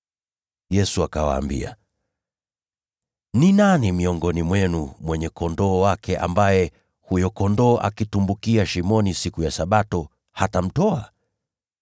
Yesu akawaambia, “Ni nani miongoni mwenu, mwenye kondoo wake ambaye huyo kondoo akitumbukia shimoni siku ya Sabato hatamtoa?